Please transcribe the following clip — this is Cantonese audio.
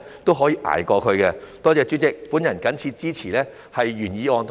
多謝主席，我謹此支持原議案及修正案。